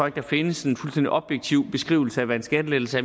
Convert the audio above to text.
at der findes en fuldstændig objektiv beskrivelse af hvad en skattelettelse